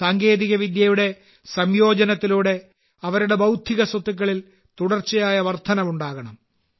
സാങ്കേതികവിദ്യയുടെ സംയോജനത്തിലൂടെ അവരുടെ ബൌദ്ധിക സ്വത്തുക്കളിൽ തുടർച്ചയായ വർദ്ധനവ് ഉണ്ടാകണം